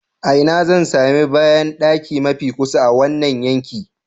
A ina zan sami bayandaki mafi kusa a wannan yanki?